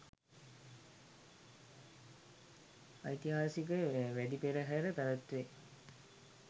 ඓතිහාසික වැදි පෙරහර පැවැත්වේ.